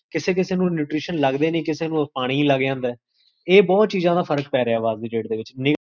ਕਿਸੇ ਕਿਸੇ ਨੂੰ nutrition ਲਗਦੇ ਨੇ, ਕਿਸੇ ਨੂੰ ਪਾਣੀ ਲਗ ਜਾਂਦੇ, ਇਹ ਬੋਹੋਤ ਚੀਜ਼ਾਂ ਦਾ ਫ਼ਰਕ ਪੈ ਰਿਹਾ ਵਾ ਅੱਜ ਦੀ date ਦੇ ਵਿੱਚ